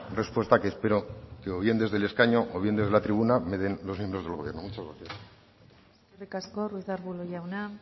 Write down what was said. respuesta que espero o bien desde el escaño o bien desde la tribuna me den los miembros del gobierno vasco muchas gracias eskerrik asko ruiz de arbulo jauna